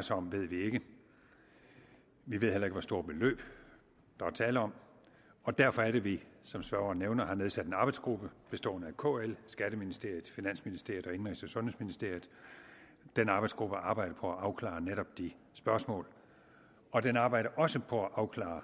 sig om ved vi ikke vi ved heller ikke hvor store beløb der er tale om og derfor er det vi som spørgeren nævner har nedsat en arbejdsgruppe består af kl skatteministeriet finansministeriet og indenrigs og sundhedsministeriet den arbejdsgruppe arbejder på at afklare netop de spørgsmål og den arbejder også på at afklare